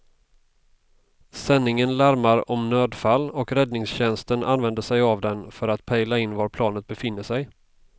Sändningen larmar om nödfall och räddningstjänsten använder sig av den för att pejla in var planet befinner sig.